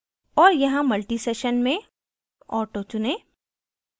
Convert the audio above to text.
और यहाँ multisession में auto चुनें